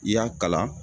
I y'a kalan